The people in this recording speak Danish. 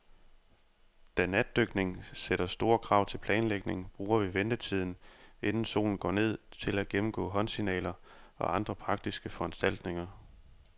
Da natdykning sætter store krav til planlægning, bruger vi ventetiden, inden solen går ned, til at gennemgå håndsignaler og andre praktiske foranstaltninger.